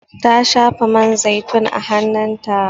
Ta shafa man zaitun a hanun ta